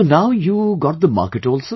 So now you got the market also